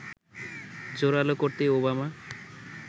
জোড়ালো করতেই ওবামা